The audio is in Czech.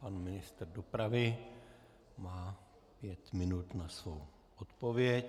Pan ministr dopravy má pět minut na svou odpověď.